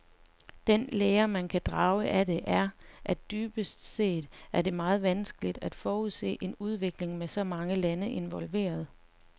Den lære, man kan drage af det, er, at dybest set er det meget vanskeligt at forudse en udvikling med så mange lande involveret.